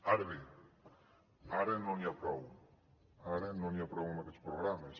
ara bé ara no n’hi ha prou ara no n’hi ha prou amb aquests programes